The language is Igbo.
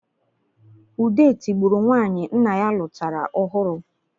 Ude tibụrụ nwanyị nna ya nụtara ọhụrụ